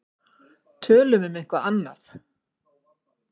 Tölum um eitthvað annað.